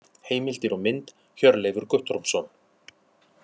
Heimildir og mynd: Hjörleifur Guttormsson.